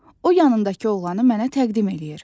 O yanındakı oğlanı mənə təqdim eləyir.